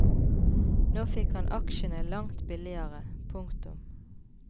Nå fikk han aksjene langt billigere. punktum